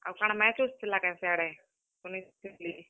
ଆଉ କାଣା match ବେଚ୍ ଥିଲା କାଏଁ ସେ ଆଡେ, ଶୁନିଥିଲି।